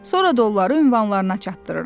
Sonra da onları ünvanlarına çatdırıram.